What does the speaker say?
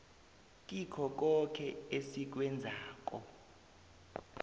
kikho koke esikwenzako